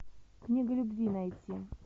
книга любви найти